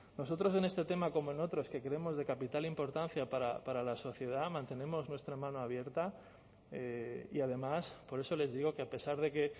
nosotros en este tema como en otros que creemos de capital importancia para la sociedad mantenemos nuestra mano abierta y además por eso les digo que a pesar de que